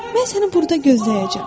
Mən səni burada gözləyəcəm.